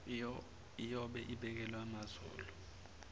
iyobe ibekelwe amazolo